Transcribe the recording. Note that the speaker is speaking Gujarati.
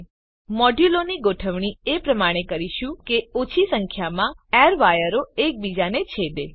હવે આપણે મોડ્યુલોની ગોઠવણી એ પ્રમાણે કરીશું કે ઓછી સંખ્યામાં એરવાયરો એકબીજાને છેદે